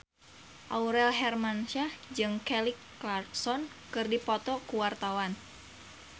Aurel Hermansyah jeung Kelly Clarkson keur dipoto ku wartawan